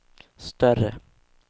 större